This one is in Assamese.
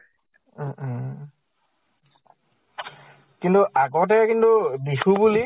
উম উম । কিন্তু আগতে কিন্তু বিহু বুলি